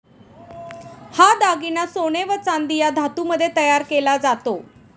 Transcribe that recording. हा दागिना सोने व चांदी या धातूमध्ये तयार केला जातो.